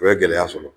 O ye gɛlɛya sɔrɔ